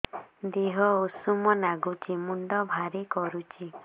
ଦିହ ଉଷୁମ ନାଗୁଚି ମୁଣ୍ଡ ଭାରି କରୁଚି